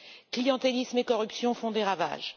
Clientélisme et corruption font des ravages.